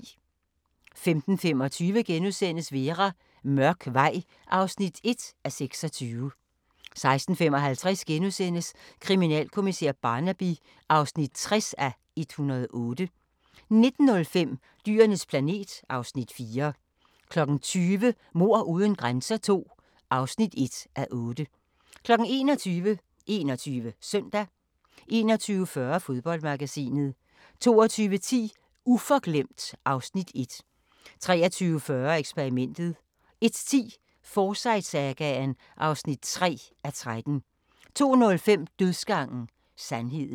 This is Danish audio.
15:25: Vera: Mørk vej (1:26)* 16:55: Kriminalkommissær Barnaby (60:108)* 19:05: Dyrenes planet (Afs. 4) 20:00: Mord uden grænser II (1:8) 21:00: 21 Søndag 21:40: Fodboldmagasinet 22:10: Uforglemt (Afs. 1) 23:40: Eksperimentet 01:10: Forsyte-sagaen (3:13) 02:05: Dødsgangen – sandheden